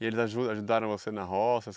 E eles aju ajudaram você na roça?